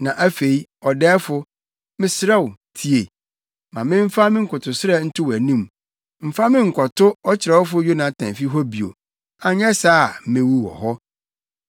Na afei, ɔdɛɛfo, mesrɛ wo tie. Ma memfa me nkotosrɛ nto wʼanim: Mfa me nkɔto ɔkyerɛwfo Yonatan fi hɔ bio, anyɛ saa a mewu wɔ hɔ.”